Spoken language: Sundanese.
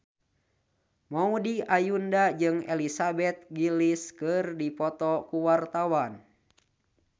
Maudy Ayunda jeung Elizabeth Gillies keur dipoto ku wartawan